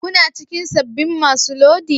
Kuna cikin sabbin masu lodi?